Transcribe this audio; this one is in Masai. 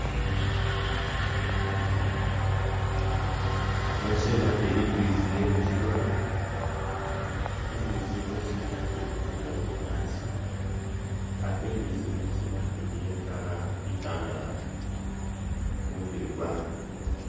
Ino siina ili imbitsi iye mukigoona, imbitsi ino siina ili kudya bunyaasi ate imbitsi yene chiina ili iye color itandalafu kumubiili kwaayo.